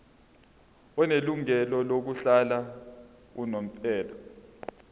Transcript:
onelungelo lokuhlala unomphela